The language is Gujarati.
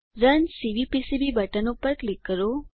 રન સીવીપીસીબી બટન પર ક્લિક કરો